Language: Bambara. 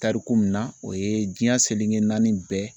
Tariku min na o ye diɲɛ seleke naani bɛɛ